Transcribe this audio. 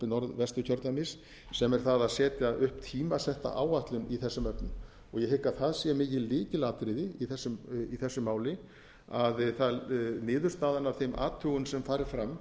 norðvesturkjördæmis sem er það að setja upp tímasett áætlun í þessum efnum ég hygg að það sé mikið lykilatriði í þessu máli að niðurstaðan af þeim athugunum sem fari fram